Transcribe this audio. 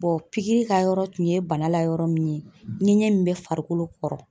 pikiri ka yɔrɔ tun ye bana la yɔrɔ min ye ŋɛɲɛ min be farikolo kɔrɔ